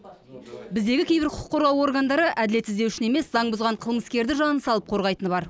біздегі кейбір құқық қорғау органдары әділет іздеушіні емес заң бұзған қылмыскерді жанын салып қорғайтыны бар